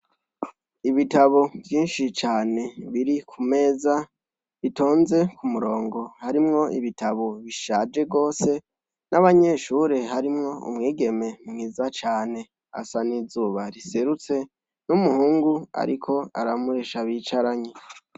Ibitabo vyishi cane biri kumeza bitonze k'umurongo harimwo ibitabo bishaje cane gose n'abanyeshure harimwo umwigeme mwiza cane asa n'izuba riserutse n'umuhungu ariko aramuresha bicaranye.